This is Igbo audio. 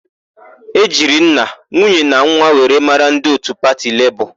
E jiri nna, nwunye na nwa were mara ndị òtù pati Lebọọ.